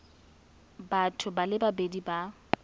batho ba le babedi ba